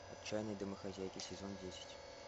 отчаянные домохозяйки сезон десять